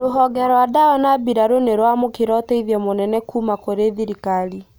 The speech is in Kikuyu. Rũhonge rwa dawa na mbirarũ nĩrwamũkĩra ũteithio mũnene kũũma kũri thirikari